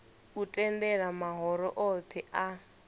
u tendela mahoro othe a